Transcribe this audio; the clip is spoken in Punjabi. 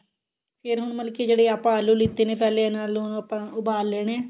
ਫਿਰ ਹੁਣ ਮਤਲਬ ਕੀ ਜਿਹੜੇ ਆਪਾਂ ਆਲੂ ਲੀਤੇ ਨੇ ਪਹਿਲਾਂ ਉਹਨਾ ਨੂੰ ਆਪਾਂ ਉਬਾਲ ਲੈਣੇ ਆ